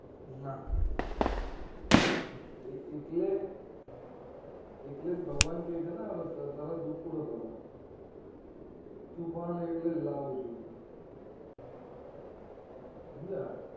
ના એ એટલે એટલે જ ભગવાન કે છે ને તરત ઉપડો તમે તું પણ એટલે લઉં છુ હું હમજ્યા